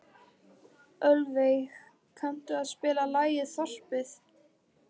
Ölveig, kanntu að spila lagið „Þorpið“?